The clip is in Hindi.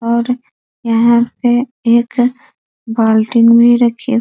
और यहाँ पे एक बाल्टी भी रखी --